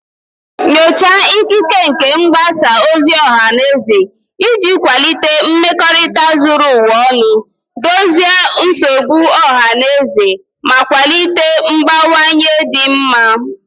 Nyochaa ikike nke mgbasa ozi ọha na eze iji kwalite mmekorita zuru ụwa ọnụ, dozie nsogbu ọha na eze, ma kwalite mgbanwe dị mma.